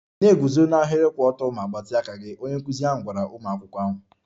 Na-eguzo n'ahịrị kwụ ọtọ ma gbatịa aka gị! Onye nkụzi ahụ gwara ụmụ akwụkwọ ahụ.